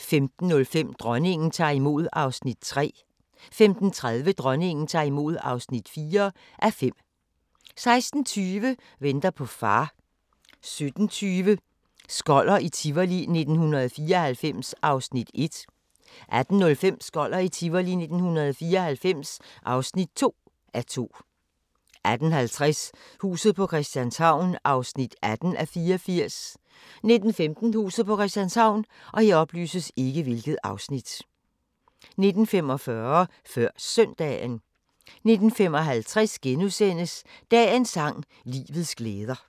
15:05: Dronningen tager imod (3:5) 15:30: Dronningen tager imod (4:5) 16:20: Venter på far 17:20: Skoller i Tivoli 1994 (1:2) 18:05: Skoller i Tivoli 1994 (2:2) 18:50: Huset på Christianshavn (18:84) 19:15: Huset på Christianshavn 19:45: Før Søndagen 19:55: Dagens sang: Livets glæder *